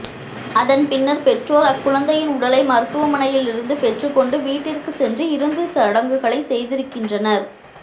அதன் பின்னர் பெற்றோர் அக்குழந்தையின் உடலை மருத்துவமனையில் இருந்து பெற்றுக் கொண்டு வீட்டிற்கு சென்று இறுதி சடங்குகளை செய்திருக்கின்றனர்